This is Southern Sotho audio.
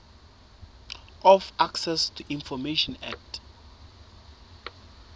of access to information act